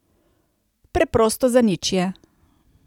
Preprosto zanič je.